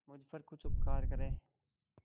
मुझ पर कुछ उपकार करें